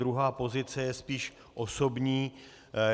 Druhá pozice je spíš osobní.